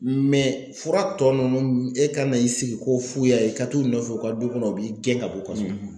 fura tɔ ninnu e ka na i sigi ko f'u y'a ye i ka t'u nɔfɛ u ka du kɔnɔ u b'i gɛn ka bɔ kɔnɔ.